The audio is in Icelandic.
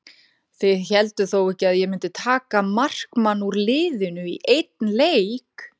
Þið hélduð þó ekki að ég mundi taka markmann úr liðinu í einn leik?